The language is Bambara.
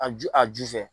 A ju a ju fɛ